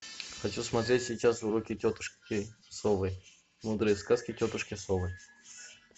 хочу смотреть сейчас уроки тетушки совы мудрые сказки тетушки совы